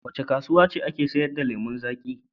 Wace kasuwa ce take sayar da lemon zaƙi?